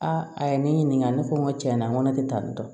Aa a ye ne ɲininka ne ko n ko tiɲɛ yɛrɛ la n ko ne tɛ taa nin dɔn